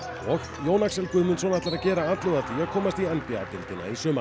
Jón Axel Guðmundsson ætlar að gera atlögu að því að komast í n b a deildina í sumar